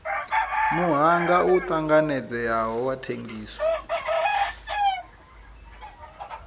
muhanga u tanganedzeaho wa thengiso